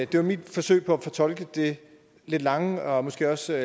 det var mit forsøg på at fortolke det lidt lange og måske også